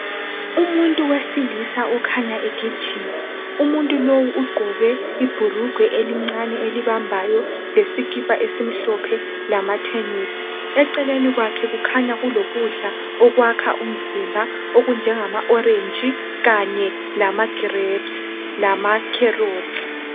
Umuntu wesilisa okhanya egijima umuntu lowu ugqoke ibhulugwe elincane elibambayo lesikhipha esimhlophe lamatenisi. Eceleni kwakhe kukhanya kulokudla okwakha umzimba ,okunjengama orange Kanye lama grapes lama carrots.